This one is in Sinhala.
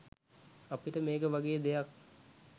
අපිට මේක වගේ දෙයක්